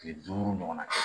Kile duuru ɲɔgɔn na kɛ